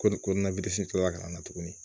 Ko ni ko na kila ka na tuguni